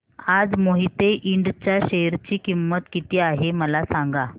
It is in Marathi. आज मोहिते इंड च्या शेअर ची किंमत किती आहे मला सांगा